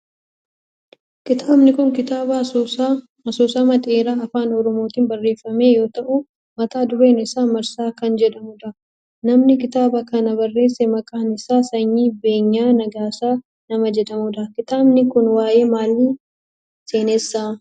Kitaabni kun kitaaba asoosama dheeraa afaan oromootin barreeffame yoo ta'u mata dureen isaa Marsaa kan jedhamudha. Namni kitaaba kana barreesse maqaan isaa Sanyii Beenyaa Nagaasaa nama jedhamudha. kitaabni kun waayee maaliii seenessa?